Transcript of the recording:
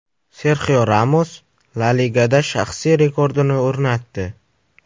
Serxio Ramos La Ligada shaxsiy rekordini o‘rnatdi.